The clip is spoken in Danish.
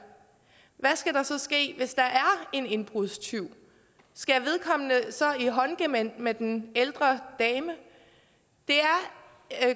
hvad skal der så ske hvis der er en indbrudstyv skal vedkommende så i håndgemæng med en ældre dame